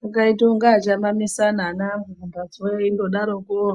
Kungaitei kunge achamamisana ana akhona eingodarokowo